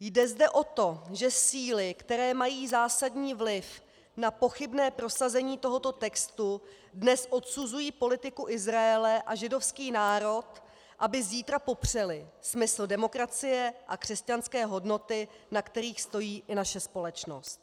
Jde zde o to, že síly, které mají zásadní vliv na pochybné prosazení tohoto textu, dnes odsuzují politiku Izraele a židovský národ, aby zítra popřely smysl demokracie a křesťanské hodnoty, na kterých stojí i naše společnost.